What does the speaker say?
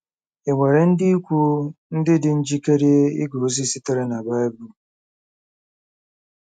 Ì nwere ndị ikwu ndị dị njikere ige ozi sitere na Bible?